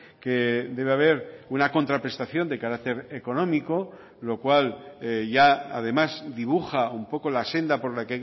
que debe haber una contraprestación de carácter económico lo cual ya además dibuja un poco la senda por la